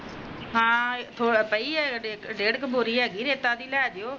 ਆਹੋ ਪਾਈ ਹੇਗੀ ਈ ਡੇਢ਼ ਕੁ ਬੋਰੀ ਹੈਗੀ ਆ ਰੈਤਾ ਦੀ ਲੈ ਜਿਯੋ